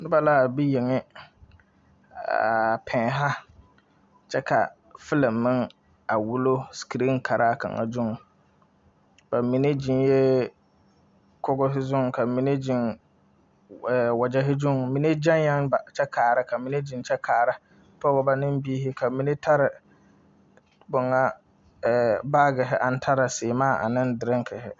Noba la a be yenŋe a pɛnnɛ kyɛ ka filiŋ meŋ wullo. Ba mine ziŋɛɛ kogro zu kyɛ ka ba mine ziŋ wagɛre zuiŋ. Ba mine gaŋɛɛ kpa kyɛ kaara .Ka ba mine ziŋ kyɛ kaara. Pɔgbɔ ne biire ka ba mine taa baagire kaa taa siimaa ane doreŋ.